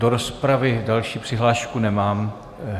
Do rozpravy další přihlášku nemám...